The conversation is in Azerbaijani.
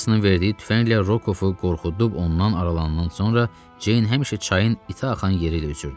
Andersonun verdiyi tüfənglə Rokovu qorxudub ondan aralanan sonra Ceyn həmişə çayın itiaxan yeri ilə üzürdü.